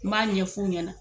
N b'a ɲɛ fu ɲɛna.